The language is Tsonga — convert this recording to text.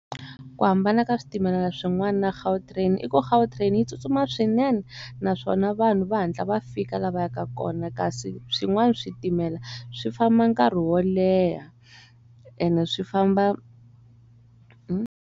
Ku hambana ka switimela swin'wana na Gautrain i ku Gautrain yi tsutsuma swinene naswona vanhu va hatla va fika lava yaka kona kasi swin'wana switimela swi famba nkarhi wo leha ene swi famba.